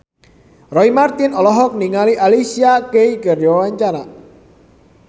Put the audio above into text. Roy Marten olohok ningali Alicia Keys keur diwawancara